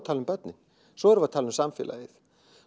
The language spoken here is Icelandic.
tala um börnin svo erum við að tala um samfélagið